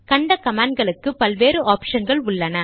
கண்ட கமாண்ட் களுக்கு பல் வேறு ஆப்ஷன்கள் உள்ளன